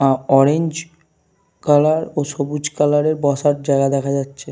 আঃ colour ও সবুজ colour - এর বসার জায়গা দেখা যাচ্ছে।